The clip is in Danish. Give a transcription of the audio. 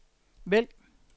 vælg